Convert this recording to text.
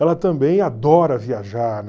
Ela também adora viajar